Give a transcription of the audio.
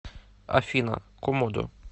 афина комодо